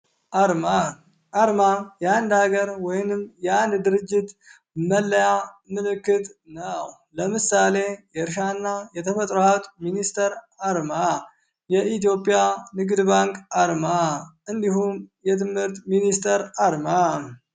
አርማ አርማ የአንድ ሀገር ወይንም የአንድ ድርጅት መለያ ምልክት ነው። ለምሳሌ የእርሻ እና የተፈጥሮ ሀብት ሚኒስትር አርማ፣ የኢትዮጵያ ንግድ ባንክ አርማ እንዲሁም የትምህርት ሚኒስትር አርማ።